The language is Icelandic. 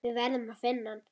Við verðum að finna hann.